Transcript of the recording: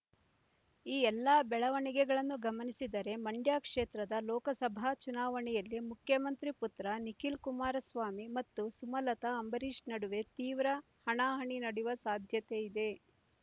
ಈ ಎಲ್ಲ ಬೆಳವಣಿಗೆಗಳನ್ನು ಗಮನಿಸಿದರೆ ಮಂಡ್ಯ ಕ್ಷೇತ್ರದ ಲೋಕಸಭಾ ಚುನಾವಣೆಯಲ್ಲಿ ಮುಖ್ಯಮಂತ್ರಿ ಪುತ್ರ ನಿಖಿಲ್ ಕುಮಾರಸ್ವಾಮಿ ಮತ್ತು ಸುಮಲತಾ ಅಂಬರೀಷ್ ನಡುವೆ ತೀವ್ರ ಹಣಾಹಣಿ ನಡೆಯುವ ಸಾಧ್ಯತೆ ಇದೆ